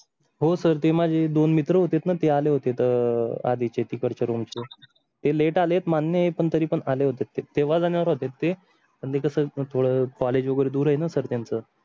हो सर ते माझे दोन मित्र होते पण ते आले होते अह तर आधीच तिकडं च्या रूम चे ते late आलेत मान्य पण तरी पण आले होते तेव्हा जाणार होते पण ते कसं थोडं college वगैरे दूर आहे ना सर त्यंचा.